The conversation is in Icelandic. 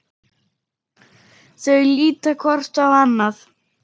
Þau líta hvort á annað.